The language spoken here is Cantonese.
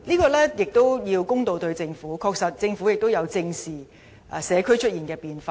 我們也應對待政府公道一點，政府確實也有正視社區出現的變化。